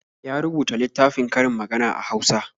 Ya rubuta littafin karin magana a Hausa.